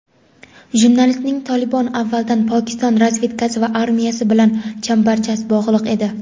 Jurnalistning "Tolibon" avvaldan Pokiston razvedkasi va armiyasi bilan chambarchas bog‘liq edi.